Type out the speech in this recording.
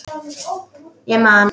Ég man.